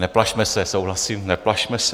Neplašme se, souhlasím, neplašme se.